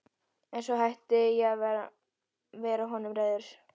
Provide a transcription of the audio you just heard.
En svo hætti ég að vera honum reiður.